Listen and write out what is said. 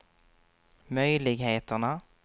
möjligheterna